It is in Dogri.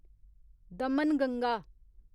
दमनगंगा